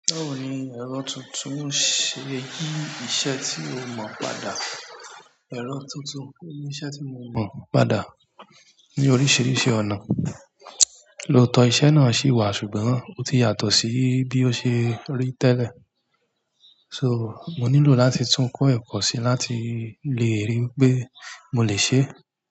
Báwo ni ẹ̀rọ tuntun ṣe yí iṣẹ́ tí o mọ̀ padà? Ẹ̀rọ tuntun yí iṣẹ́ tí mo mọ̀ padà ní oríṣiríṣi ọ̀nà. Lóòótọ́ iṣẹ́ náà ṣì wà, ṣùgbọ́n ó ti yàtọ̀ sí bí ó ṣe rí tẹ́lẹ̀. So, mo nílò láti tún kọ́ ẹ̀kọ́ síi láti le ríi ńpé mo lè ṣeé.